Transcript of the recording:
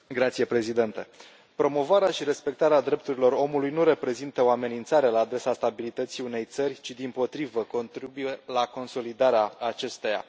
Domnule președinte, promovarea și respectarea drepturilor omului nu reprezintă o amenințare la adresa stabilității unei țări, ci, dimpotrivă, contribuie la consolidarea acesteia.